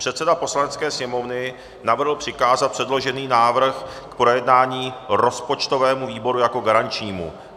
Předseda Poslanecké sněmovny navrhl přikázat předložený návrh k projednání rozpočtovému výboru jako garančnímu.